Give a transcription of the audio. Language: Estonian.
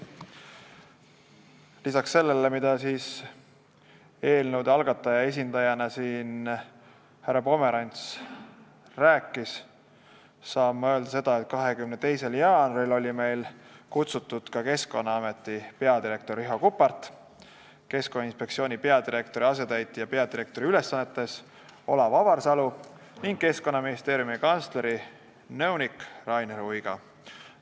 Lisaks sellele, mida eelnõu algataja esindajana rääkis siin härra Pomerants, saan ma öelda, et 22. jaanuaril olid komisjoni kutsutud Keskkonnaameti peadirektor Riho Kuppart, Keskkonnainspektsiooni peadirektori asetäitja peadirektori ülesannetes Olav Avarsalu ning Keskkonnaministeeriumi kantsleri nõunik Rainis Uiga.